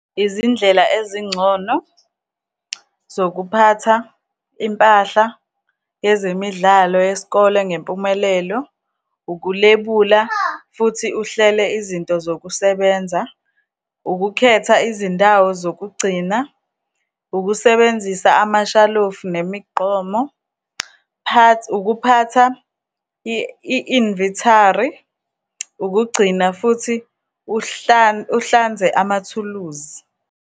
Izindlela ezingcono zokuphatha impahla yezemidlalo yesikole ngempumelelo, ukulebula, futhi uhlele izinto zokusebenza, ukukhetha izindawo zokugcina, ukusebenzisa amashalofu, nemigqomo, ukuphatha i-inventory, ukugcina futhi uhlanze amathuluzi.